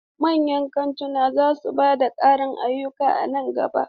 Manyan kantuna za su ba da ƙarin ayyuka a nan gaba.